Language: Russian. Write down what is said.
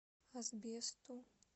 асбесту